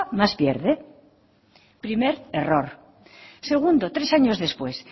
más pierde primer error segundo tres años después